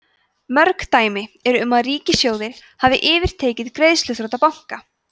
mörg dæmi eru um að ríkissjóðir hafi yfirtekið greiðsluþrota banka